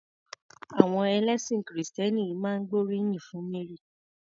Àwọn ẹlẹ́sìn kìrìtẹ́nì ìmíì máa ń gbóríyìn fún Mary.